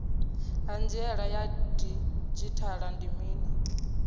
hanziela ya didzhithala ndi mini